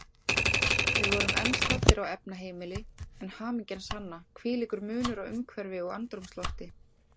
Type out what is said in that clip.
Við vorum enn staddir á efnaheimili, en hamingjan sanna, hvílíkur munur á umhverfi og andrúmslofti.